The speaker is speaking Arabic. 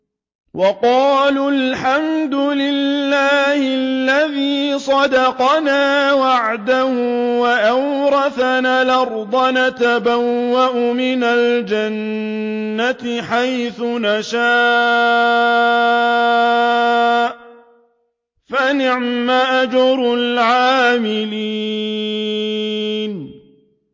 وَقَالُوا الْحَمْدُ لِلَّهِ الَّذِي صَدَقَنَا وَعْدَهُ وَأَوْرَثَنَا الْأَرْضَ نَتَبَوَّأُ مِنَ الْجَنَّةِ حَيْثُ نَشَاءُ ۖ فَنِعْمَ أَجْرُ الْعَامِلِينَ